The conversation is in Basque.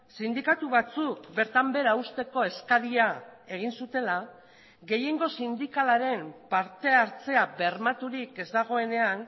sindikatu batzuk bertan behera uzteko eskaria egin zutela gehiengo sindikalaren parte hartzea bermaturik ez dagoenean